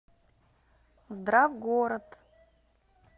здравгород